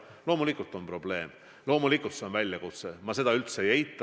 Loomulikult on probleem, loomulikult see on väljakutse, ma seda üldse ei eita.